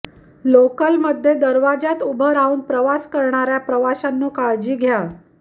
लोकलमध्ये दरवाजात उभं राहून प्रवास करणाऱ्या प्रवाशांनो काळजी घ्या